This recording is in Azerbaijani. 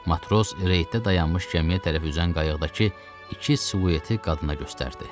Matros reydə dayanmış gəmiyə tərəf üzən qayıqdakı iki siluetə qadına göstərdi.